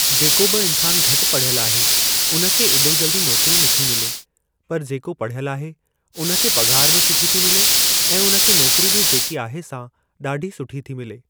जेको बि इंसान घटि पढ़ियल आहे उन खे एॾो जल्दी नोकरी नथी मिले, पर जेको पढ़ियल आहे उन खे पघार बि सुठी थी मिले ऐं उन खे नोकरी बि जेकी आहे सा ॾाढी सुठी थी मिले।